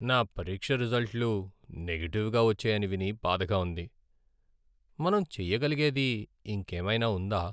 నా పరీక్ష రిజల్ట్లు నెగటివ్గా వచ్చాయని విని బాధగా ఉంది.మనం చెయ్యగలిగేది ఇంకేమైనా ఉందా?